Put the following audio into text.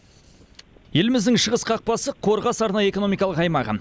еліміздің шығыс қақпасы қорғас арнайы экономикалық аймағы